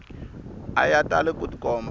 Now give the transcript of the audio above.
a ya tali ku tikomba